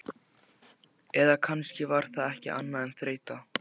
Eða kannski var það ekki annað en þreyta.